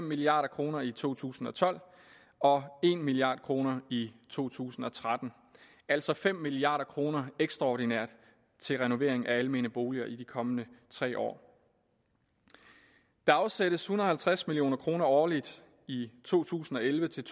milliard kroner i to tusind og tolv og en milliard kroner i to tusind og tretten altså fem milliard kroner ekstraordinært til renovering af almene boliger i de kommende tre år der afsættes en hundrede og halvtreds million kroner årligt i to tusind og elleve til